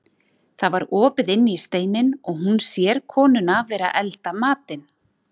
Það var opið inn í steininn og hún sér konuna vera að elda matinn.